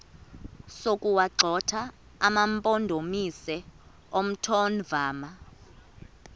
sokuwagxotha amampondomise omthonvama